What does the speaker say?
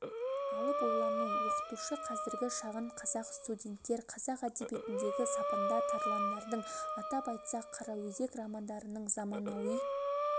алып ойлану оқытушы қазіргі шағын қазақ студенттер қазақ әдебиетіндегі сапында тарландардың атап айтсақ қараөзек романдарының заманауи